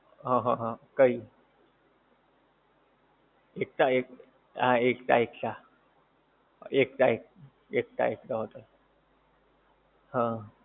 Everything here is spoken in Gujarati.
હા હા હા કઈ એકતા હા એકતા એકતા એકતા એકતા hotel હા